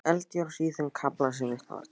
Eldjárns í þeim kafla sem vitnað var til.